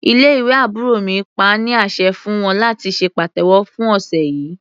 Ilé ìwé àbúrò mi pa á ní àṣẹ fún wọn láti ṣe pàtẹ́wọ́ fún ọ̀sẹ̀ yìí.